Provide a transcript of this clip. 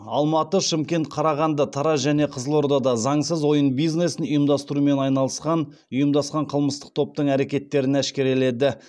алматы шымкент қарағанды тараз және қызылордада заңсыз ойын бизнесін ұйымдастырумен айналысқан ұйымдасқан қылмыстық топтың әрекеттерін әшкереледі